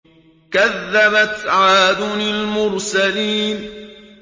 كَذَّبَتْ عَادٌ الْمُرْسَلِينَ